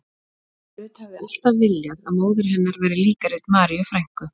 Ruth hafði alltaf viljað að móðir hennar væri líkari Maríu frænku